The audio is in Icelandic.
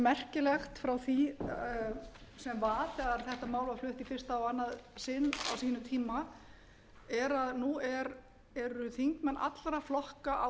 merkilegt frá því sem var þegar þetta mál var flutt í fyrsta og annað sinn á sínum tíma er að nú eru þingmenn allra flokka á